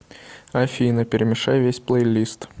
афина перемешай весь плейлист